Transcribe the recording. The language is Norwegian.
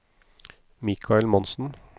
Mikael Monsen